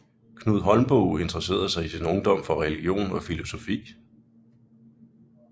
Knud Holmboe interessede sig i sin ungdom for religion og filosofi